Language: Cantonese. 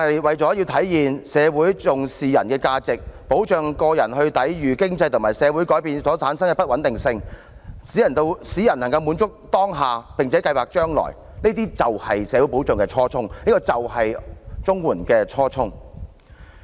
為體現重視人的價值，保障個人抵禦經濟和社會改變所產生的不穩定性，使人能滿足當下並且計劃將來，這些便是社會保障的初衷，也是綜援的初衷。